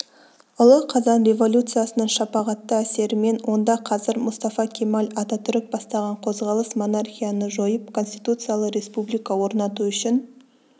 ұлы қазан революциясының шапағатты әсерімен онда қазір мұстафа кемел ататүрік бастаған қозғалыс монархияны жойып конституциялы республика орнату үшін